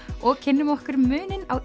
og kynnum okkur muninn á